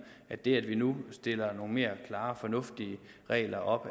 at det at vi nu stiller nogle mere klare og fornuftige regler op